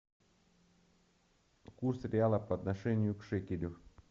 курс реала по отношению к к шекелю